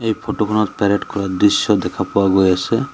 এই ফটো খনত পেৰেড কৰা দৃশ্য দেখা পোৱা গৈ আছে।